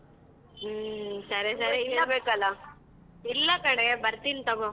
ಹ್ಮ್ . ಇಲ್ಲ ಕಣೆ ಬರ್ತೀನ್ ತೊಗೋ.